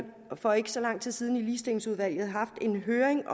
for ikke så lang tid siden i ligestillingsudvalget haft en høring